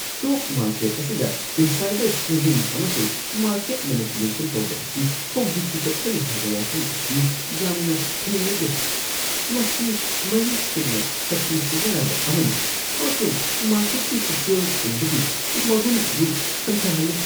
Stock market ꯑꯁꯤꯗ insider trading ꯑꯃꯁꯨꯡ market manipulation ꯇꯧꯕ ꯑꯁꯤ ꯍꯧꯖꯤꯛꯁꯨ ꯆꯠꯊꯔꯤ ꯍꯥꯏꯕ ꯋꯥꯐꯝ ꯑꯁꯤ ꯌꯥꯝꯅ ꯍꯩꯅꯗꯦ꯫ ꯃꯁꯤ ꯃꯌꯦꯛ ꯁꯦꯡꯅ ꯁꯛꯇꯤ ꯁꯤꯖꯤꯟꯅꯕ ꯑꯃꯅꯤ ꯑꯃꯁꯨꯡ ꯃꯥꯔꯀꯦꯠꯀꯤ ꯄꯨꯛꯆꯦꯜ ꯁꯦꯡꯕꯒꯤ ꯃꯒꯨꯟ ꯑꯗꯨ ꯍꯟꯊꯍꯜꯂꯤ꯫